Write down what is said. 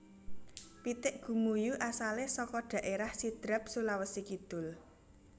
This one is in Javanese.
Pitik Gumuyu asalé saka dhaérah Sidrap Sulawesi Kidul